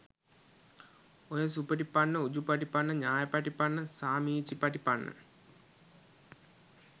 ඔය සුපටිපන්න උජුපටිපන්න ඤායපටිපන්න සාමීචිපටිපන්න